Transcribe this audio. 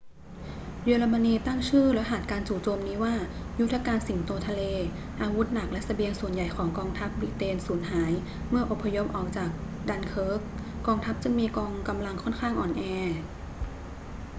เยอรมนีตั้งชื่อรหัสการจู่โจมนี้ว่า ยุทธการสิงโตทะเล อาวุธหนักและเสบียงส่วนใหญ่ของกองทัพบริเตนสูญหายเมื่ออพยพออกจากดันเคิร์ก กองทัพจึงมีกำลังค่อนข้างอ่อนแอ